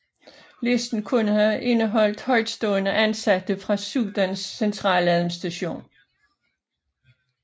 Listen kunne have indeholdt højtstående ansatte fra Sudans centraladministration